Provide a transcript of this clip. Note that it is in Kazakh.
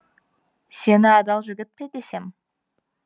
сені адал жігіт пе десем